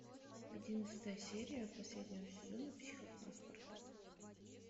одиннадцатая серия последнего сезона психопаспорта